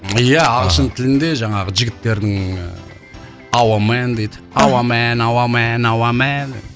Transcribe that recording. иә ағылшын тілінде жаңағы жігіттердің ыыы ауа мэн дейді ауа мэн ауа мэн ауа мэн